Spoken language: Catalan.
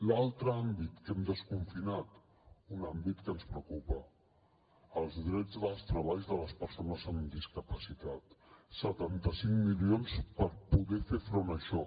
l’altre àmbit que hem desconfinat un àmbit que ens preocupa els drets dels treballs de les persones amb discapacitat setanta cinc milions per poder fer front a això